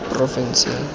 porofense